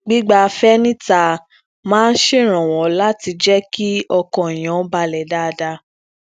gbigbafẹ nita máa ń ṣeranwọ lati jẹ kí ọkàn èèyàn balè dáadáa